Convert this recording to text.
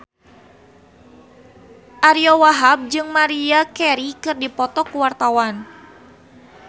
Ariyo Wahab jeung Maria Carey keur dipoto ku wartawan